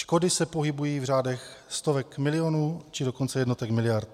Škody se pohybují v řádech stovek milionů, či dokonce jednotek miliard.